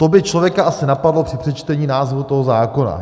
To by člověka asi napadlo při přečtení názvu toho zákona.